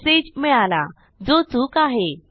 message मिळाला जो चूक आहे